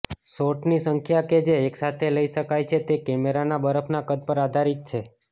શોટની સંખ્યા કે જે એકસાથે લઈ શકાય છે તે કેમેરાના બફરના કદ પર આધારિત છે